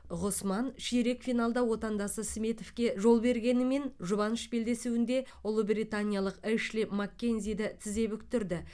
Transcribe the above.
ғұсман ширек финалда отандасы сметовке жол бергенімен жұбаныш белдесуінде ұлыбританиялық эшли маккензиді тізе бүктірді